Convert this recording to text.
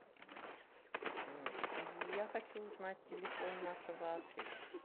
я хочу узнать телефон нашего отеля